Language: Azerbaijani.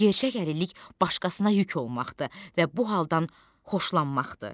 Gerçək əlillik başqasına yük olmaqdır və bu haldan xoşlanmaqdır.